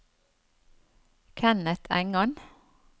Kenneth Engan